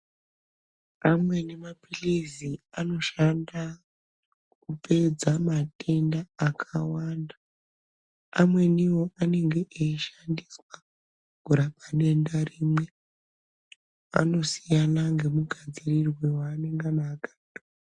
Amweni maphilizi anoshanda kupedza matenda akawanda. Amwenivo anenge eishandiswa kurapa denda rimwe. Anosiyana ngemugadzirirwe waanengana akaitwa.